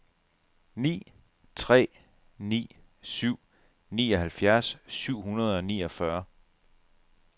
ni tre ni syv nioghalvfjerds syv hundrede og niogfyrre